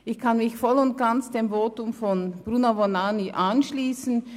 Ich kann mich voll und ganz dem Votum von Bruno Vanoni anschliessen.